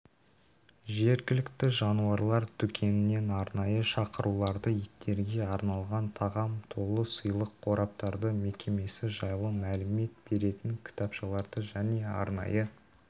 жергілікті жануарлар дүкенінен арнайы шақыруларды иттерге арналған тағам толы сыйлық қораптарды мекемесі жайлы мәлімет беретін кітапшаларды және арнайы